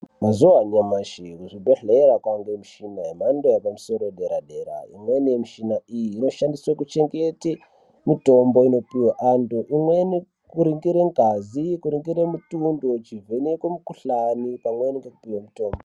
Mazuva anyamashi muzvibhedhlera kwaane micheni yemhando yepadera-dera. Imweni micheni iyi inoshandiswe kuchengete mitombo inopiwe vantu, imweni kuringire ngazi, kuringire mutundo, zvichivhenekwe mikhuhlani pamwe nekupiwe mitombo.